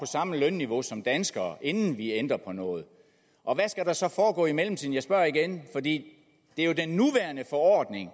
samme lønniveau som danskere inden vi ændrer på noget og hvad skal der så foregå i mellemtiden jeg spørger igen for det er jo den nuværende forordning